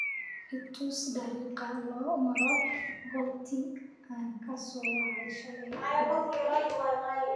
i tus dariiqa loo maro goobtii aan ka soo wacay shalay duhurkii